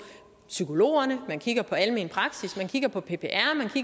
psykologerne man kigger på almen praksis man kigger på ppr